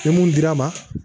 Ni mun dir'a ma